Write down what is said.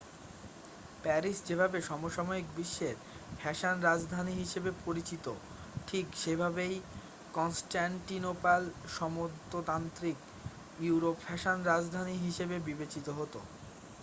Paris যেভাবে সমসাময়িক বিশ্বের ফ্যাশন রাজধানী হিসেবে পরিচিত ঠিক সেভাবেই কনস্টান্টিনোপল সামন্ততান্ত্রিক ইউরোপের ফ্যাশন রাজধানী হিসেবে বিবেচিত হতো